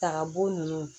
Taka bo nunnu